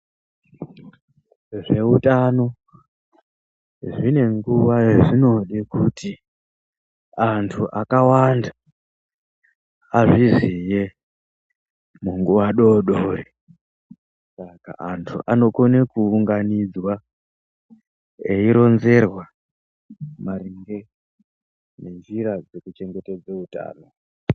Zve utano zvine nguva ya zvinode kuti antu akawanda azviziye mu nguva dodori saka antu anokone ku unganidzwa eyi ronzerwa maringe ne nzira dzeku chengetedze utano.